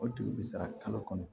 O dugu bɛ sara kalo kɔnɔ